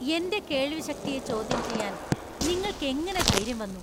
എന്‍റെ കേൾവിശക്തിയെ ചോദ്യം ചെയ്യാൻ നിങ്ങൾക്ക് എങ്ങനെ ധൈര്യം വന്നു?